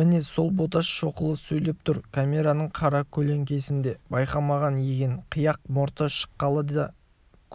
міне сол боташ шоқұлы сөйлеп тұр камераның қаракөлеңкесінде байқамаған екен қияқ мұрты шыққалы да